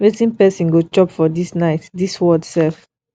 wetin person go chop for dis night dis world sef